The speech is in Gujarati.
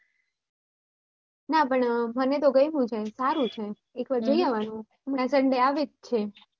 ના પણ મને તો ગમ્યુ છે સારું છે એક વાર તો જોઈ આવાનું